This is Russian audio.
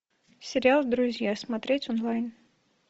сериал друзья смотреть онлайн